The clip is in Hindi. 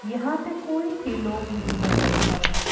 यहां पे कोई भी लोग नहीं नजर आ रहे--